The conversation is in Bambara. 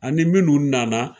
Ani minnu nana